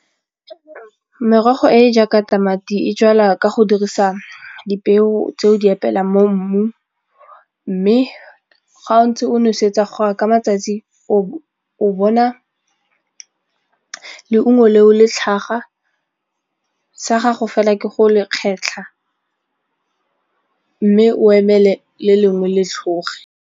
Merogo e e jaaka tamati e jalwa ka go dirisa dipeo tse o di epelang mo mmung mme ga o ntse o nosetsa gore ka matsatsi o bona leungo leo le tlhaga, sa gago fela ke go le kgetlha mme o emele le lengwe le tlhoge.